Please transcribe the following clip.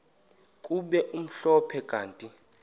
kube mhlophe kanti